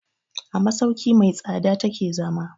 A masauki mai tsada ta ke zama.